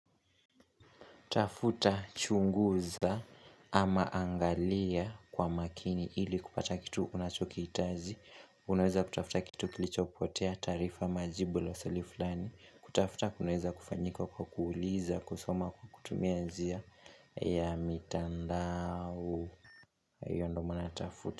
Tafuta chunguza ama angalia kwa makini ili kupata kitu unachokihitaji. Unaweza kutafuta kitu kilichopotea tarifa majibu loseli fulani. Kutafuta kunaweza kufanyika kwa kuuliza kusoma kwa kutumia njia ya mitandao. Iyo ndo maana ya tafuta.